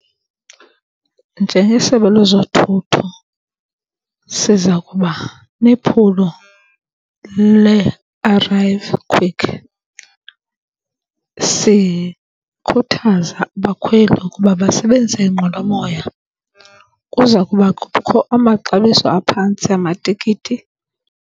Njengesebe lwezothutho siza kuba nephulo le arrive quick sikhuthaza abakhweli ukuba basebenzise iinqwelomoya. Kuza kuba kukho amaxabiso aphantsi amatikiti.